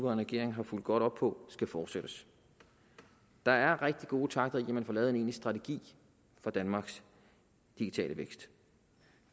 regering har fulgt godt op på skal fortsættes der er rigtig gode takter i at man får lavet en egentlig strategi for danmarks digitale vækst